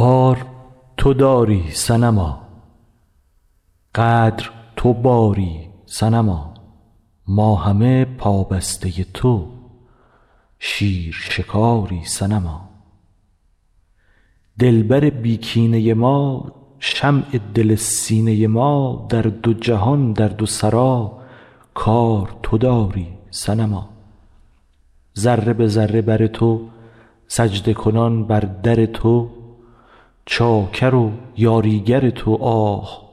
کار تو داری صنما قدر تو باری صنما ما همه پابسته تو شیر شکاری صنما دلبر بی کینه ما شمع دل سینه ما در دو جهان در دو سرا کار تو داری صنما ذره به ذره بر تو سجده کنان بر در تو چاکر و یاریگر تو آه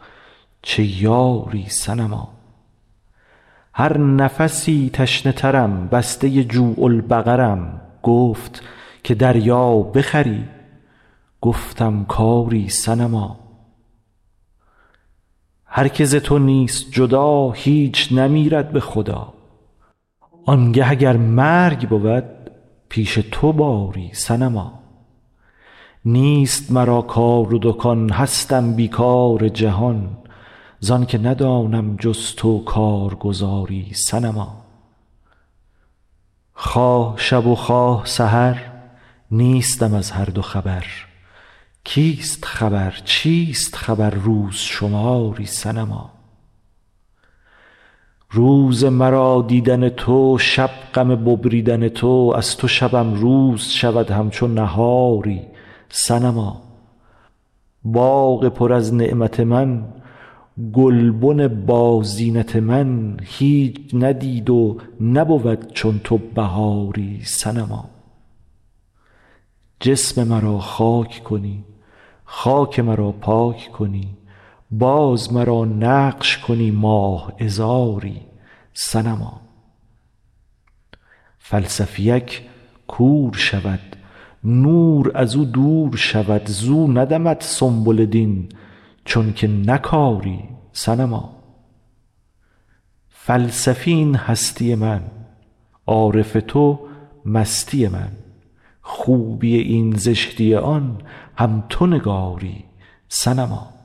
چه یاری صنما هر نفسی تشنه ترم بسته جوع البقرم گفت که دریا بخوری گفتم که آری صنما هر کی ز تو نیست جدا هیچ نمیرد به خدا آنگه اگر مرگ بود پیش تو باری صنما نیست مرا کار و دکان هستم بی کار جهان زان که ندانم جز تو کارگزاری صنما خواه شب و خواه سحر نیستم از هر دو خبر کیست خبر چیست خبر روز شماری صنما روز مرا دیدن تو شب غم ببریدن تو از تو شبم روز شود همچو نهاری صنما باغ پر از نعمت من گلبن بازینت من هیچ ندید و نبود چون تو بهاری صنما جسم مرا خاک کنی خاک مرا پاک کنی باز مرا نقش کنی ماه عذاری صنما فلسفی ک کور شود نور از او دور شود زو ندمد سنبل دین چونک نکاری صنما فلسفی این هستی من عارف تو مستی من خوبی این زشتی آن هم تو نگاری صنما